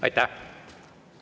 Aitäh!